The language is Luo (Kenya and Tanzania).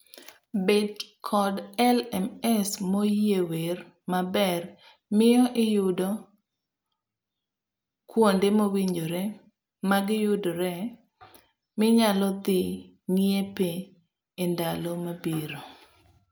Bet kod LMS moyiwer maber miyo iyudo kuonde mowinjore magiyudoree minyalo dhi ng'iepee endalo mabiro.